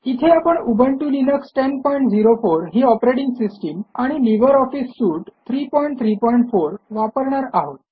इथे आपण Ubuntu Linux 1004 ही ऑपरेटिंग सिस्टम आणि लिब्रे ऑफिस सूट 334 वापरणार आहोत